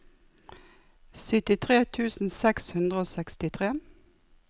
syttitre tusen seks hundre og sekstitre